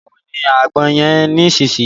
Báwo ni àgbọn yẹn nisinyi?